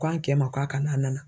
K'an cɛ ma k'a ka na a nana.